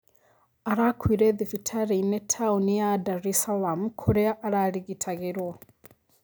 Arakuire thibitarĩ-inĩ taoni ya Dar es Salaam kũrĩa ararigitagĩrwo